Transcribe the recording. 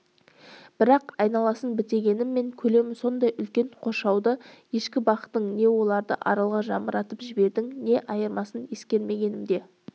бірақ айналасын бітегеніммен көлемі сондай үлкен қоршауда ешкі бақтың не оларды аралға жамыратып жібердің не айырмасын ескермегенімде